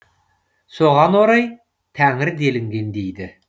соған орай тәңір делінген дейді